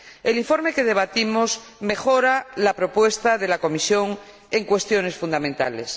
El informe que debatimos mejora la propuesta de la Comisión en cuestiones fundamentales.